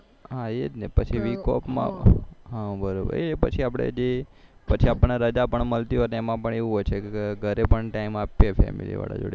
હા એજ ને પછી week of માં હા બરાબર પછી આપણે જે પછી આપણને રજા પણ મળતી હોયતો એમાંપણએવું હોય છે કે ઘરે પણ time આપીએ family વાળા જોડે